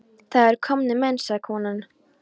Það eru komnir menn, sagði konan.